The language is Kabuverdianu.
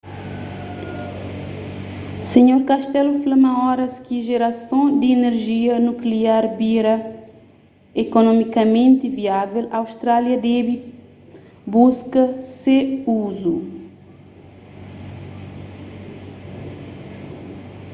sr costello fla ma oras ki jerason di inerjia nukliar bira ekonomikamenti viável austrália debe buska se uzu